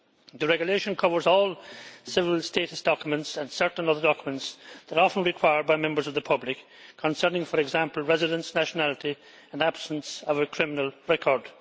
The regulation covers all civil status documents, and certain other documents that are often required by members of the public concerning, for example, residence, nationality and absence of a criminal record.